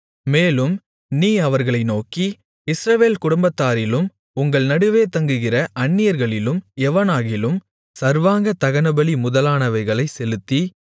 மேலும் நீ அவர்களை நோக்கி இஸ்ரவேல் குடும்பத்தாரிலும் உங்கள் நடுவே தங்குகிற அந்நியர்களிலும் எவனாகிலும் சர்வாங்கதகனபலி முதலானவைகளைச் செலுத்தி